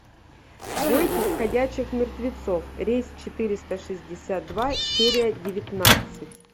бойтесь ходячих мертвецов рейс четыреста шестьдесят два серия девятнадцать